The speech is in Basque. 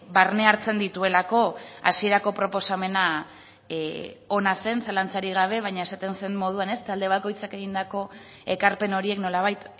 barne hartzen dituelako hasierako proposamena ona zen zalantzarik gabe baina esaten zen moduan talde bakoitzak egindako ekarpen horiek nolabait